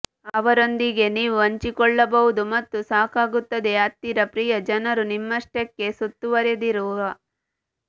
ಅವರೊಂದಿಗೆ ನೀವು ಹಂಚಿಕೊಳ್ಳಬಹುದು ಮತ್ತು ಸಾಕಾಗುತ್ತದೆ ಹತ್ತಿರ ಪ್ರಿಯ ಜನರು ನಿಮ್ಮಷ್ಟಕ್ಕೇ ಸುತ್ತುವರೆದಿರುವ